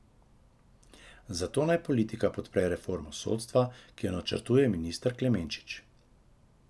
Zato naj politika podpre reformo sodstva, ki jo načrtuje minister Klemenčič.